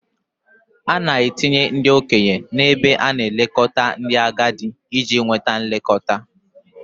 A na-etinye ndị okenye n'ebe a na-elekọta ndị agadi iji nweta nlekọta.